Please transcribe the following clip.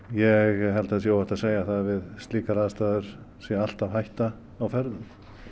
ég held að það sé óhætt að segja það að við slíkar aðstæður sé alltaf hætta á ferðum